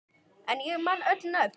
En ég man öll nöfn.